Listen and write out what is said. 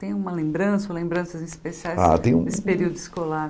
Tem uma lembrança ou lembranças especiais Ah tenho Desse período escolar?